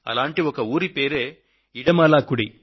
అలాంటి ఒక ఊరి పేరే ఇడమాలాకుడి